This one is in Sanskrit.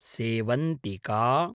सेवन्तिका